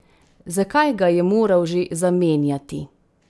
Zakaj ga je moral že zamenjati?